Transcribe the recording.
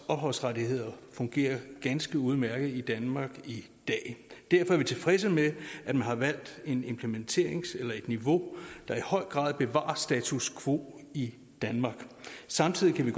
af ophavsrettigheder fungerer ganske udmærket i danmark i dag derfor er vi tilfredse med at man har valgt et implementeringsniveau der i høj grad bevarer status quo i danmark samtidig kan vi